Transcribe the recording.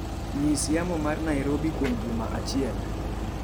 nyis yamo mar Nairobi kuom juma achiel